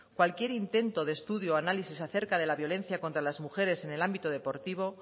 cualquier intento de estudio análisis acerca de la violencia contra las mujeres en el ámbito deportivo